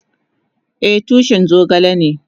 Eh, tushin zogale ne.